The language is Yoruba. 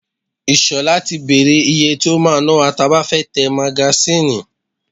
Ìṣọ̀lá ti bèrè ìyè tí o máa ná wa tí a bá fẹ́ tẹ magasínì.